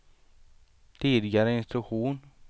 tidigare instruktion